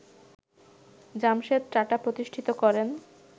জামশেদ টাটা প্রতিষ্ঠিত করেন